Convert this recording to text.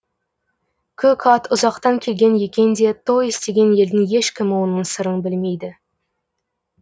көк ат ұзақтан келген екен де той істеген елдің ешкімі оның сырын білмейді